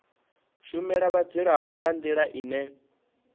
shumela vhadzulapo nga ndila ine